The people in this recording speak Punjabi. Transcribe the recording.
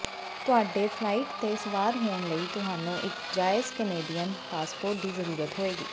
ਤੁਹਾਡੇ ਫਲਾਈਟ ਤੇ ਸਵਾਰ ਹੋਣ ਲਈ ਤੁਹਾਨੂੰ ਇੱਕ ਜਾਇਜ਼ ਕੈਨੇਡੀਅਨ ਪਾਸਪੋਰਟ ਦੀ ਜ਼ਰੂਰਤ ਹੋਏਗੀ